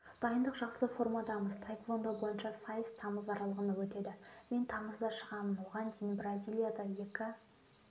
дайындық жақсы формадамыз таеквондо бойынша сайыс тамыз аралығында өтеді мен тамызда шығамын оған дейін бразилияда екі